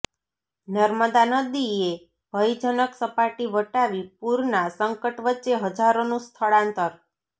નર્મદા નદીએ ભયજનક સપાટી વટાવી પૂરના સંકટ વચ્ચે હજારોનું સ્થળાંતર